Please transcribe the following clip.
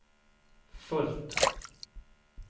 fullt